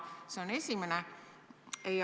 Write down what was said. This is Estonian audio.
See on esimene küsimus.